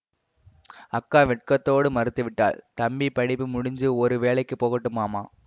அக்கா வெட்கத்தோடு மறுத்துவிட்டாள் தம்பி படிப்பு முடிஞ்சி ஒரு வேலைக்கு போகட்டும் மாமா